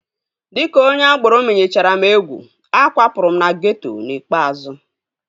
Dịka onye agboro menyechara m egwu, akwapụrụ m na geeto n'ikpeazụ